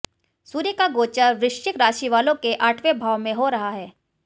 सूर्य का गोचर वृश्चिक राशि वालों के आठवें भाव में हो रहा है